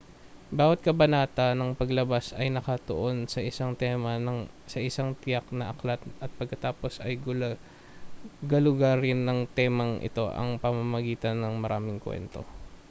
bawat kabanata ng palabas ay nakatuon sa isang tema sa isang tiyak na aklat at pagkatapos ay galugarin ang temang ito sa pamamagitan ng maraming kuwento